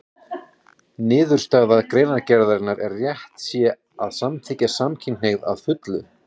Niðurstaða greinargerðarinnar er að rétt sé að samþykkja samkynhneigð að fullu.